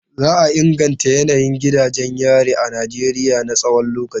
Za a inganta yanayin gidajen yari a Najeriya na tsawon lokaci.